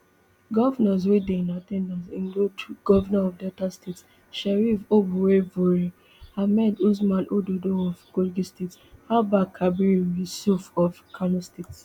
govnors wey dey in at ten dance include govnor of delta state sheriff oborevwori ahmed usman ododo of kogi state abba kabiru yusuf of kano state